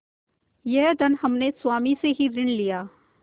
यह धन हमने स्वामी ही से ऋण लिया